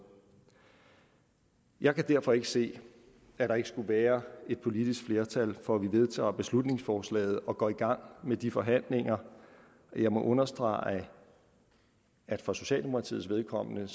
jeg kan derfor ikke se at der ikke skulle være et politisk flertal for at vi vedtager beslutningsforslaget og går i gang med de forhandlinger jeg må understrege at for socialdemokratiets vedkommende